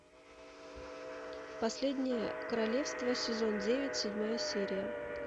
последнее королевство сезон девять седьмая серия